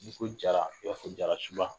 N'i ko jara ib'a fɔɔ jarasuba